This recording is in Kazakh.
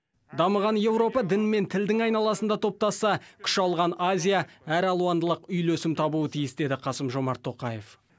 дамыған еуропа дін мен тілдің айналасында топтасса күш алған азия әралуандылық үйлесім табуы тиіс деді қасым жомарт тоқаев